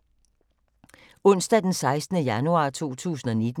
Onsdag d. 16. januar 2019